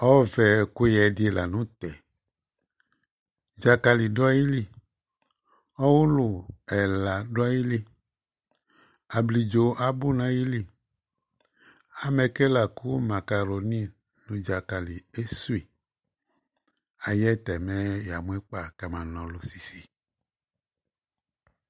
Ɔvɛ ɛƙʋƴɛ ɖɩ la nʋ tɛ; ɖzaƙalɩ ɖʋ aƴili, ɔwʋlʋ ɛla ɖʋ aƴiliAbliɖzo abʋ nʋ aƴili; amɛ ƙe laƙʋ maƙaroni nʋ ɖzaƙali esuiAƴɛ tɛ mɛ ƴa mʋ ɩƙpa ƙɛmanaɔlʋ sisi